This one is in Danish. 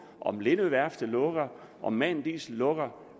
om lindø værftet lukker om man diesel lukker